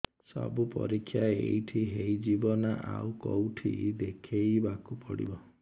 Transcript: ସବୁ ପରୀକ୍ଷା ଏଇଠି ହେଇଯିବ ନା ଆଉ କଉଠି ଦେଖେଇ ବାକୁ ପଡ଼ିବ